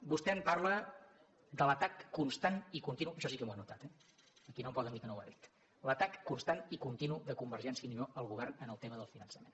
vostè em parla de l’atac constant i continu això sí que m’ho he anotat eh aquí no em poden dir que no ho ha dit l’atac constant i continu de convergència i unió al govern en el tema del finançament